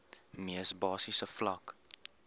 mees basiese vlak